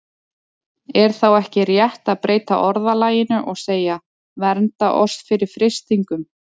Er þá ekki rétt að breyta orðalaginu og segja: Vernda oss fyrir freistingum?